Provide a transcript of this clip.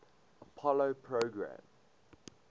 apollo program